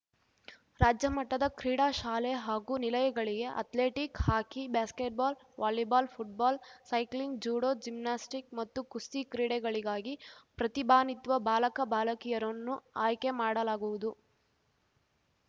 ರಾಜ್ಯಮಟ್ಟದ ಕ್ರೀಡಾ ಶಾಲೆ ಹಾಗೂ ನಿಲಯಗಳಿಗೆ athletic hockey basketball volleyball football cycling judo gymnastic ಮತ್ತು ಕುಸ್ತಿ ಕ್ರೀಡೆಗಳಿಗಾಗಿ ಪ್ರತಿಭಾನ್ವಿತ ಬಾಲಕ ಬಾಲಕಿಯರನ್ನು ಆಯ್ಕೆ ಮಾಡಲಾಗುವುದು